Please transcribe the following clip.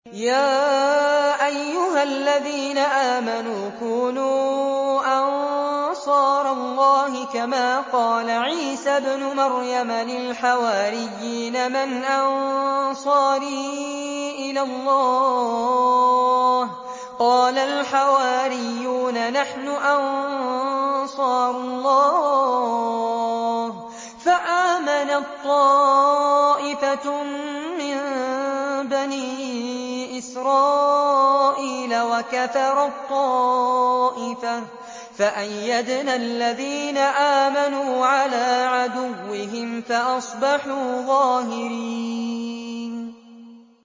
يَا أَيُّهَا الَّذِينَ آمَنُوا كُونُوا أَنصَارَ اللَّهِ كَمَا قَالَ عِيسَى ابْنُ مَرْيَمَ لِلْحَوَارِيِّينَ مَنْ أَنصَارِي إِلَى اللَّهِ ۖ قَالَ الْحَوَارِيُّونَ نَحْنُ أَنصَارُ اللَّهِ ۖ فَآمَنَت طَّائِفَةٌ مِّن بَنِي إِسْرَائِيلَ وَكَفَرَت طَّائِفَةٌ ۖ فَأَيَّدْنَا الَّذِينَ آمَنُوا عَلَىٰ عَدُوِّهِمْ فَأَصْبَحُوا ظَاهِرِينَ